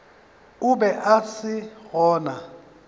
o be a se gona